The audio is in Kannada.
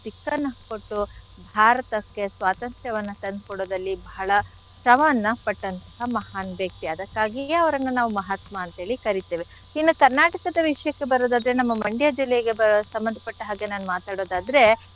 ದಿಕ್ಕನ್ನು ಕೊಟ್ಟು ಭಾರತಕ್ಕೆ ಸ್ವಾತಂತ್ರ್ಯವನ್ನ ತಂದ್ಕೊಡೋದ್ರಲ್ಲಿ ಬಹಳ ಶ್ರಮವನ್ನ ಪಟ್ಟಂಥಹ ಮಹಾನ್ ವ್ಯಕ್ತಿ ಅದಕ್ಕಾಗಿಯೇ ಅವ್ರನ್ನ ನಾವು ಮಹಾತ್ಮ ಅಂತ್ ಹೇಳಿ ಕರಿತೇವೆ. ಇನ್ನೂ Karnataka ದ ವಿಷ್ಯಕ್ಕೆ ಬರೋದಾದ್ರೆ ನಮ್ಮ Mandya ಜಿಲ್ಲೆಗೆ ಸಂಭಂಧ ಪಟ್ಟ ಹಾಗೆ ನಾನ್ ಮಾತಾಡೋದಾದ್ರೆ,